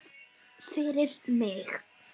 Fyrir mig.